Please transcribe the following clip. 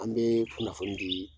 An bee kunnafoni dii